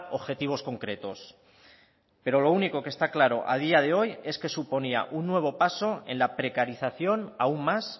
objetivos concretos pero lo único que está claro a día de hoy es que suponía un nuevo paso en la precarización aún más